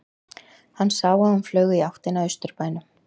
Hann sá að hún flaug í áttina að Austurbænum.